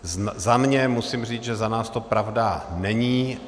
Za sebe musím říct, že za nás to pravda není.